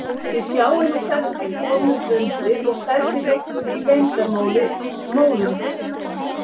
Þið sjáið nú hvernig þið komuð undir og hvernig liggur í leyndarmáli móður ykkar.